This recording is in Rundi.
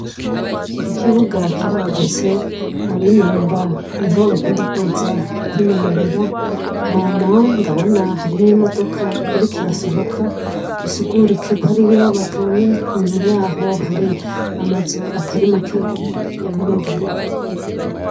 Iki kibuga kiragutse abinonora ni ho bakunda kuza kwinonorera hama ndabona hari n'imodoka irikirasohoka bisugurikeko ari yo bavuye inyuma yaho hari amazu atari makeyi y'abanyagihugu.